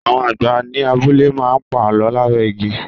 Àwọn àgbà ni abúlé má ń pa Àlọ́ lábẹ́ igi.